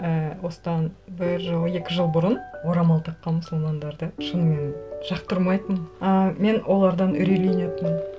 ііі осыдан бір жыл екі жыл бұрын орамал таққан мұсылмандарды шынымен жақтырмайтынмын ыыы мен олардан үрейленетінмін